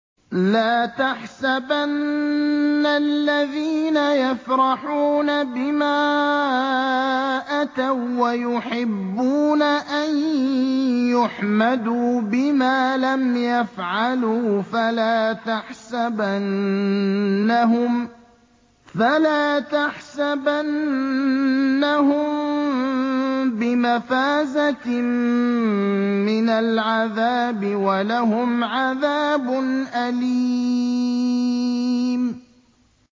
لَا تَحْسَبَنَّ الَّذِينَ يَفْرَحُونَ بِمَا أَتَوا وَّيُحِبُّونَ أَن يُحْمَدُوا بِمَا لَمْ يَفْعَلُوا فَلَا تَحْسَبَنَّهُم بِمَفَازَةٍ مِّنَ الْعَذَابِ ۖ وَلَهُمْ عَذَابٌ أَلِيمٌ